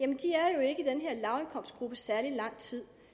særlig lang tid